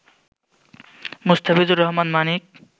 Mustafizur Rahman Manik